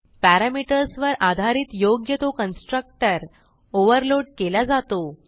parameters वर आधारित योग्य तो कन्स्ट्रक्टर ओव्हरलोड केला जातो